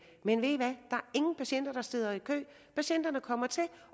men ved i hvad er ingen patienter der sidder i kø patienterne kommer til